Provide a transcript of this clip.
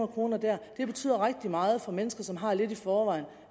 kroner der betyder rigtig meget for mennesker som har lidt i forvejen